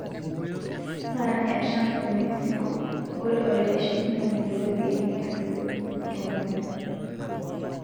Paran e Trump e Mexico, ore olaitashekinoni lo ropiani netujuto kewon.